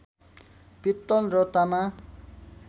पित्तल र तामा